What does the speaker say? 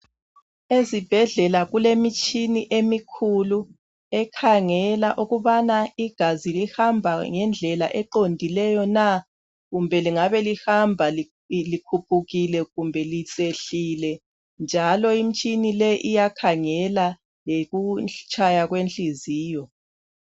Ezibhedlela kulemitshina emikhulu ekhangela ukubana igazi lihamba ngendlela eqondileyo na kumbe lingabe lihamba likhuphukile kumbe lehlile njalo imitshini le iyakhangela lokutshaya kwehliziyo